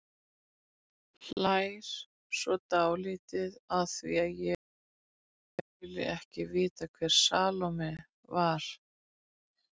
Hlær svo dálítið að því að ég skuli ekki vita hver Salóme var.